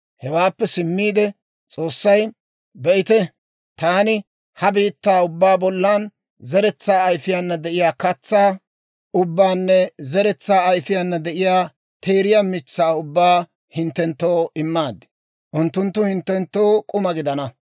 Hewaappe simmiide S'oossay, «Be'ite! Taani ha biittaa ubbaa bollan zeretsaa ayfiiyaana de'iyaa katsaa ubbaanne zeretsaa ayfiiyaana de'iyaa teeriyaa mitsaa ubbaa hinttenttoo immaad; unttunttu hinttenttoo k'uma gidana.